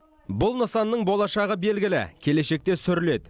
бұл нысанның болашағы белгілі келешекте сүріледі